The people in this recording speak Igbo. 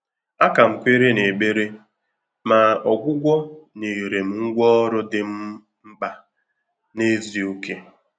A kà m kwèrè n’ékpèré, mà ọ́gwụ́gwọ́ nyèrè m ngwá ọ́rụ́ dị́ m mkpà n’ézìókè.